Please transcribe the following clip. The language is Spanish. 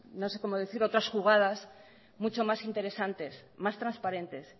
no sé cómo decirlo otras jugadas mucho más interesantes más transparentes